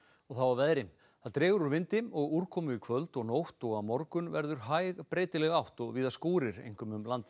og þá að veðri það dregur úr vindi og úrkomu í kvöld og nótt og á morgun verður hæg breytileg átt og víða skúrir einkum um landið